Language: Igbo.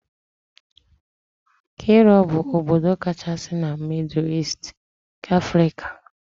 Kairo bụ obodo kachasị na mịdụ Easti nke Afrika